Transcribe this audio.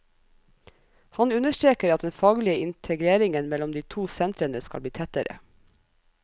Han understreker at den faglige integreringen mellom de to sentrene skal bli tettere.